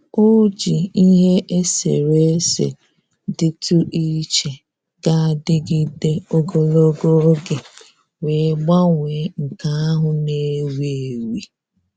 O ji ihe eserese dịtụ iche ga-adịgịde ogologo oge wee gbanwee nke ahụ na-ewi ewi